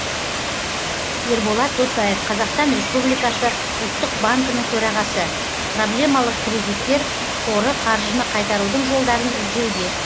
ерболат досаев қазақстан республикасы ұлттық банкінің төрағасы проблемалық кредиттер қоры қаржыны қайтарудың жолдарын іздеуде